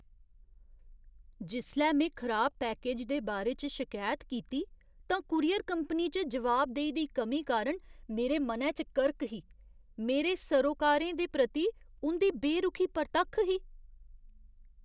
जिसलै में खराब पैकेज दे बारै च शकैत कीती तां कूरियर कंपनी च जवाबदेही दी कमी कारण मेरे मनै च करक ही। मेरे सरोकारें दे प्रति उं'दी बेरुखी परतक्ख ही।